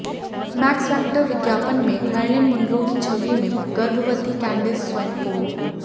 max Factor विज्ञापन में Marilyn Monroe की छवि में गर्भवती कैंडेस स्वैनपोल